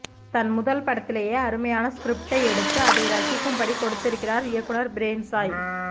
தன் முதல் படத்திலேயே அருமையான ஸ்கிரிப்டை எடுத்து அதை ரசிக்கும்படி கொடுத்திக்கிறார் இயக்குனர் பிரேம்சாய்